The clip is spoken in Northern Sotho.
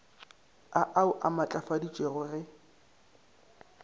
a au a matlafaditšwe ge